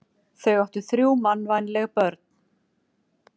Þau áttu þrjú mannvænleg börn.